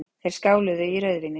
Þeir skáluðu í rauðvíni.